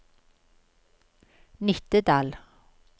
Nittedal